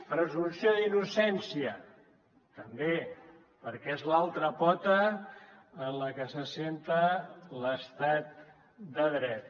presumpció d’innocència també perquè és l’altra pota en què s’assenta l’estat de dret